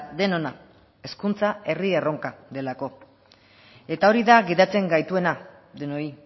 denona hezkuntza herri erronka delako eta hori da gidatzen gaituena denoi